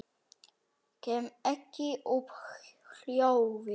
Kem ekki upp hljóði.